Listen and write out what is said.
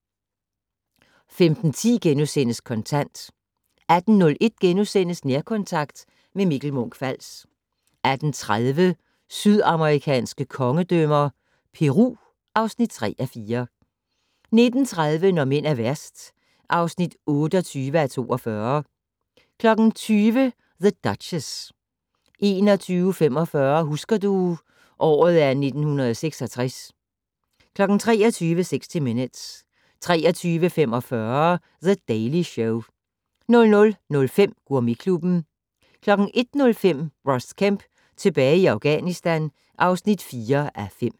15:10: Kontant * 18:01: Nærkontakt - med Mikkel Munch-Fals * 18:30: Sydamerikanske kongedømmer - Peru (3:4) 19:30: Når mænd er værst (28:42) 20:00: The Duchess 21:45: Husker du - året er 1966 23:00: 60 Minutes 23:45: The Daily Show 00:05: Gourmetklubben 01:05: Ross Kemp tilbage i Afghanistan (4:5)